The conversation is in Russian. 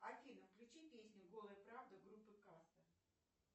афина включи песню голая правда группы каста